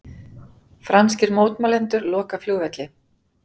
Franskir mótmælendur loka flugvelli